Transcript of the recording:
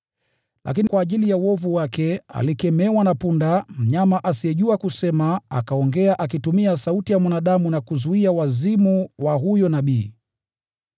Lakini kwa ajili ya uovu wake, alikemewa na punda, mnyama asiyejua kusema, akaongea akitumia sauti ya mwanadamu na kuzuia wazimu wa huyo nabii.